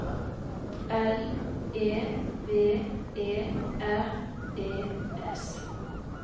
L E V E R E S